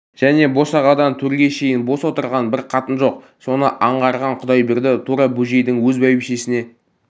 және босағадан төрге шейін бос отырған бір қатын жоқ соны аңғарған құдайберді тура бөжейдің өз бәйбішесіне